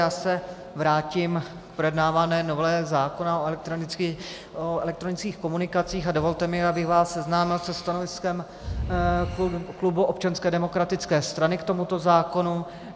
Já se vrátím k projednávané novele zákona o elektronických komunikacích a dovolte mi, abych vás seznámil se stanoviskem klubu Občanské demokratické strany k tomuto zákonu.